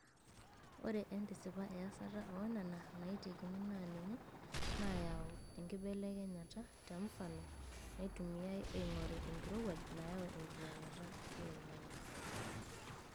Ore entisipa easata oonena naitekini naa ninye nayau enkibelekenyata te mfano naitumiyai eingori enkirowuaj nayau enkinyalata oloingange .